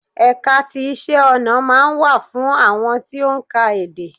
Ẹ̀ka ti iṣẹ́-ọ̀nà máa ń wà fún àwọn tí ó ń ka èdè.